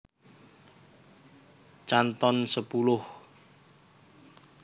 Canton sepuluh